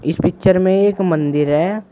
इस पिक्चर में एक मंदिर है।